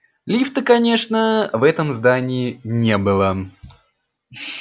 лифта конечно в этом здании не было